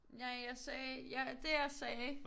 Nej jeg sagde det jeg sagde